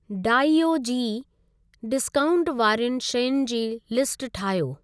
डाइओ जी डिस्काऊंट वारियुनि शयुनि जी लिस्ट ठाहियो।